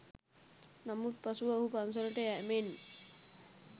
නමුත් පසුව ඔහු පන්සලට යෑමෙන්